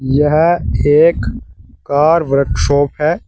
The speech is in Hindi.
यह एक कार वर्कशॉप है।